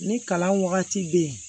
Ni kalan wagati bɛ yen